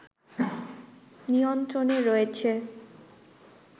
নিয়ন্ত্রণে রয়েছে